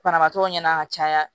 Banabaatɔw ɲɛna ka caya